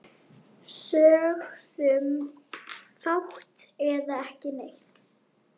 Sögðum fátt eða ekki neitt.